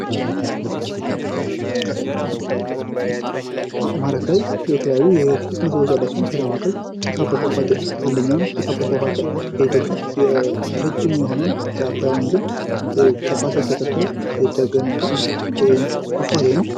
አማራ ክልል የተለያዩ የቱሪስት መስህብ ያሏት ሲሆን ከነዚህም መካከል ጭስ አባይ ፏፏቴ አንደኛው ነው። ጭስ አባይ ፏፏቴ በኢትዮጵያ ረጅሙ የሆነውን የአባይ ወንዝን ተፋሰስ ተከትሎ የተገነባ ፏፏቴ ነው።